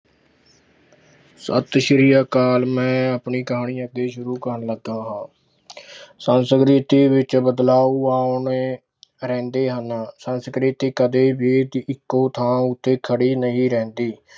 ਸਤਿ ਸ੍ਰੀ ਅਕਾਲ ਮੈਂ ਆਪਣੀ ਕਹਾਣੀ ਅੱਗੇ ਸ਼ੁਰੂ ਕਰਨ ਲੱਗਾ ਹਾਂ ਸੰਸਕ੍ਰਿਤੀ ਵਿੱਚ ਬਦਲਾਉ ਆਉਣੇ ਰਹਿੰਦੇ ਹਨ, ਸੰਸਕ੍ਰਿਤੀ ਕਦੇ ਵੀ ਇੱਕੋ ਥਾਂ ਉੱਤੇ ਖੜੀ ਨਹੀਂ ਰਹਿੰਦੀ।